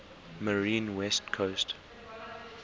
marine west coast